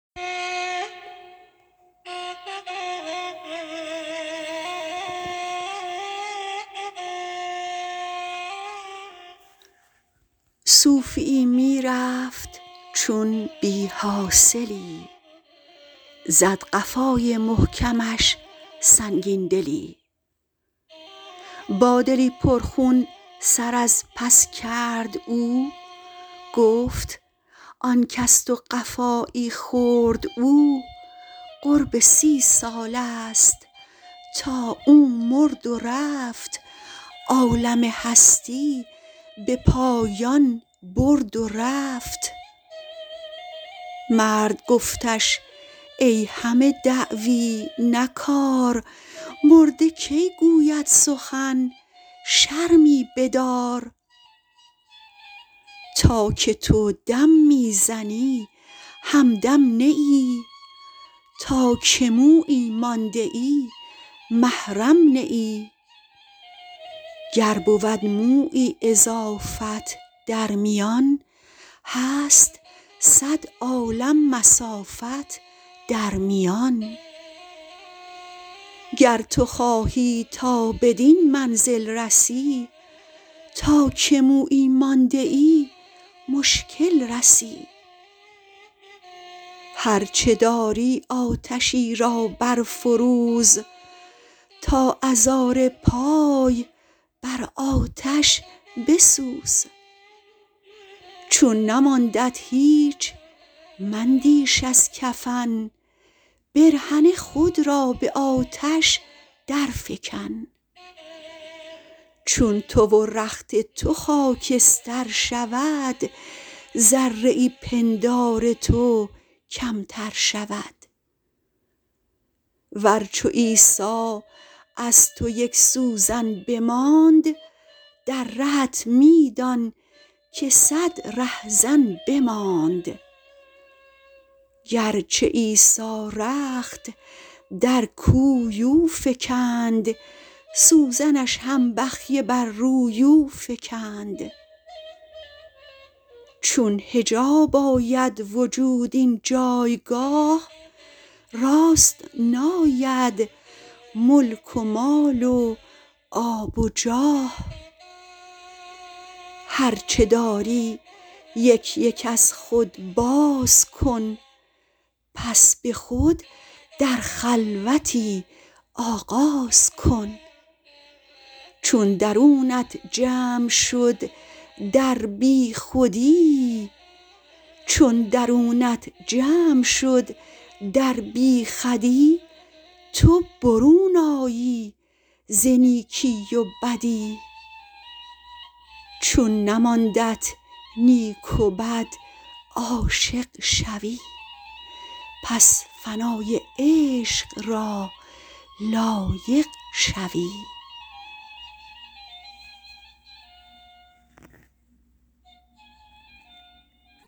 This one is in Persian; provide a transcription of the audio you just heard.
صوفیی می رفت چون بی حاصلی زد قفای محکمش سنگین دلی با دلی پر خون سر از پس کرد او گفت آنک از تو قفایی خورد او قرب سی سالست تا او مرد و رفت عالم هستی به پایان برد و رفت مرد گفتش ای همه دعوی نه کار مرده کی گوید سخن شرمی بدار تا که تو دم می زنی هم دم نه ای تا که مویی مانده محرم نه ای گر بود مویی اضافت در میان هست صد عالم مسافت در میان گر تو خواهی تا بدین منزل رسی تا که مویی مانده مشکل رسی هرچ داری آتشی را برفروز تا ازار پای بر آتش بسوز چون نماندت هیچ مندیش از کفن برهنه خود را به آتش در فکن چون تو و رخت تو خاکستر شود ذره پندار تو کمتر شود ور چو عیسی از تو یک سوزن بماند در رهت می دان که صد ره زن بماند گرچه عیسی رخت در کوی او فکند سوزنش هم بخیه بر روی او فکند چون حجاب آید وجود این جایگاه راست ناید ملک و مال و آب و جاه هرچ داری یک یک از خود بازکن پس به خود در خلوتی آغاز کن چون درونت جمع شد در بی خودی تو برون آیی ز نیکی و بدی چون نماندت نیک و بد عاشق شوی پس فنای عشق را لایق شوی